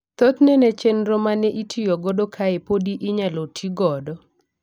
Thothne ne chenro ma neitiyo godo kae podi inyalo tii godo.